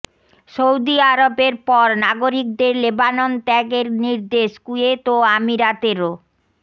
Saudi আরবের পর নাগরিকদের লেবানন ত্যাগের নির্দেশ কুয়েত ও আমিরাতেরও